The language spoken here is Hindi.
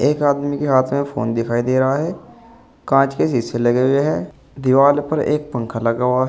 एक आदमी के हाथ में फोन दिखाई दे रहा है कांच के शीशे लगे हुए हैं दीवाल पर एक पंखा लगा हुआ है।